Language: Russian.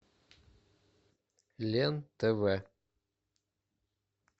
лен тв